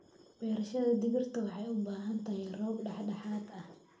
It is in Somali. Beerashada digirta waxay u baahan tahay roob dhexdhexaad ah.